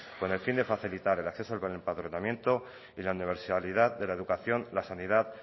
con el fin de facilitar el acceso al empadronamiento y la universalidad de la educación la sanidad